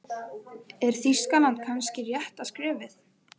Er Þýskaland kannski rétta skrefið?